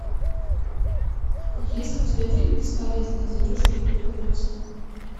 есть ли у тебя фильм бесполезные зверушки эпизод восемь